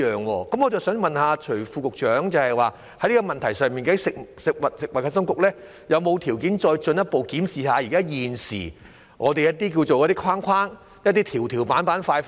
我想問徐副局長，就着這問題，究竟食物及衞生局是否有條件再進一步檢視現時的框框、"條條板板塊塊"？